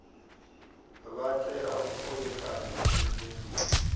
vha tea u kovhekana tshenzhemo